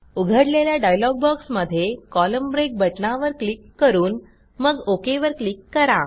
उघडलेल्या डायलॉग बॉक्समध्ये column break बटणावर क्लिक करून मग ओक वर क्लिक करा